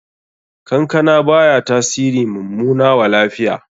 Kankana baya tasiri mummana wa lafiya.